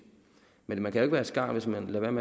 men man kan være et skarn hvis man